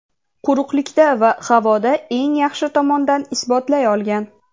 quruqlikda va havoda eng yaxshi tomondan isbotlay olgan.